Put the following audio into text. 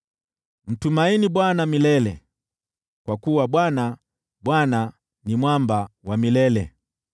Mtumaini Bwana milele, kwa kuwa Bwana , Bwana , ni Mwamba wa milele.